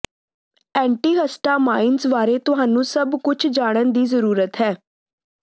antihistamines ਬਾਰੇ ਤੁਹਾਨੂੰ ਸਭ ਕੁਝ ਜਾਣਨ ਦੀ ਜ਼ਰੂਰਤ ਹੈ